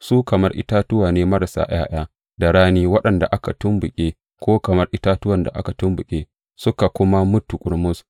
Su kamar itatuwa ne, marasa ’ya’ya da rani, waɗanda aka tumɓuke, ko kamar itatuwan da aka tumɓuke suka kuma mutu ƙurmus.